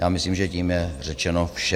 Já myslím, že tím je řečeno vše.